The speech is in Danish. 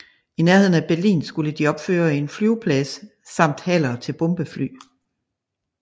I nærheden af Berlin skulle de opføre en flyveplads samt haller til bombefly